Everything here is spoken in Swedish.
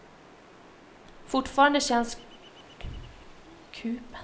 Fortfarande känns kupen både luftig och inbjudande.